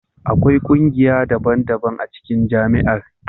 Akwai kungiya daban-daban a cikin Jami'ar.